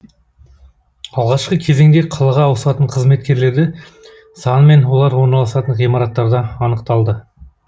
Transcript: алғашқы кезеңде қалаға ауысатын қызметкерлерді саны мен олар орналасатын ғимараттарда анықталды